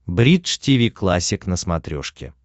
бридж тиви классик на смотрешке